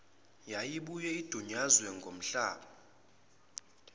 yayibuye idunyazwe ngamahlazo